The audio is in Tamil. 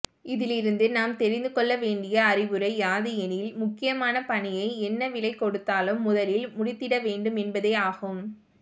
இதிலிருந்து நாம் தெரிந்து கொள்ளவேண்டிய அறிவுரை யாது எனில் முக்கியமான பணியை என்ன விலைகொடுத்தாலும் முதலில் முடித்திடவேண்டும் என்பதேயாகும்